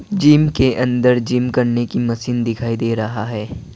Gym के अंदर gym करने की मशीन दिखाई दे रहा है।